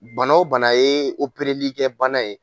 Bana o bana ye opereli kɛ bana ye.